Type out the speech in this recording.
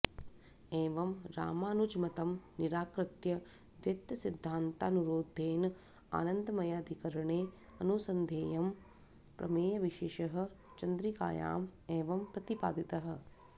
एवं रामानुजमतं निराकृत्य द्वैतसिध्दान्तानुरोधेन आनन्दमयाधिकरणे अनुसन्धेयः प्रमेयविशेषः चन्द्रिकायाम् एवं प्रतिपादितः